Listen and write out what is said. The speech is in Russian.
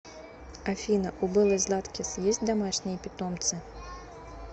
афина у беллы златкис есть домашние питомцы